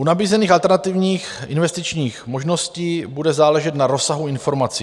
U nabízených alternativních investičních možností bude záležet na rozsahu informací.